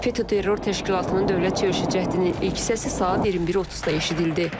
FETÖ terror təşkilatının dövlət çevrilişi cəhdinin ilk hissəsi saat 21:30-da eşidildi.